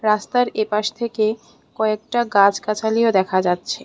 রাস্তার এপাশ থেকে কয়েকটা গাছগাছালিও দেখা যাচ্ছে।